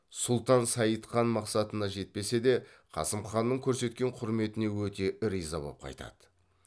сұлтан сайд хан мақсатына жетпесе де қасым ханның көрсеткен құрметіне өте риза боп қайтады